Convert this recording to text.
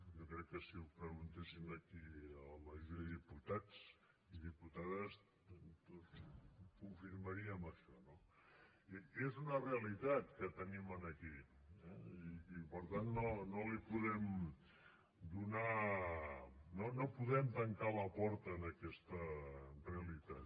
jo crec que si ho preguntéssim aquí a la majoria de diputats i diputades tots confirmaríem això no és una realitat que tenim aquí eh i per tant no podem tancar la porta a aquesta realitat